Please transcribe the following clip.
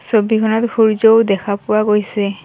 ছবিখনত সূৰ্য্যও দেখা পোৱা গৈছে।